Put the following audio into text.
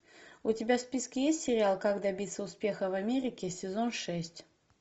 у тебя в списке есть сериал как добиться успеха в америке сезон шесть